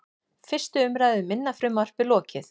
Fyrstu umræðu um minna frumvarpið lokið